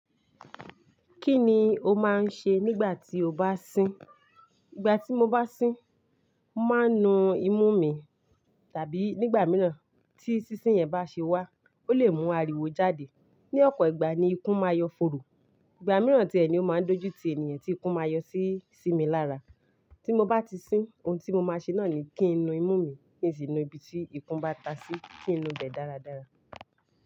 Kí ni o máa ń ṣe nígbà tí o bá sín? Igbà tí mo bá sín, mo máa ń nu imú mi tàbí nígbà mìíràn tí sísín yẹn bá ṣe wá, ó lè mú ariwo jáde. Ni ọ̀pọ̀ ìgbà ni ikún máa n yọ fòòró. Ìgbà mìíràn tiẹ́ ni ó máa ń dojú ti ènìyàn tí ikún máa yọ sími lára. Tí mo bá ti sín, ohun tí mo máa ṣe náà ni kí n nu imú mi, kí n sì nu ibi tí ikún bá ta sí, kí n nu bẹ̀ dáradára.